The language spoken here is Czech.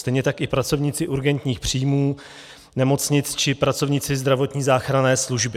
Stejně tak i pracovníci urgentních příjmů, nemocnic či pracovníci zdravotní záchranné služby.